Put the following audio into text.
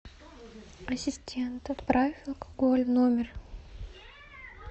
ассистент отправь алкоголь в номер